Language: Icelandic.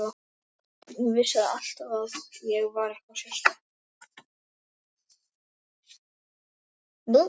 Ég vissi það alltaf að ég var eitthvað sérstakt.